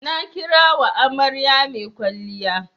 Na kira wa amarya mai kwalliya.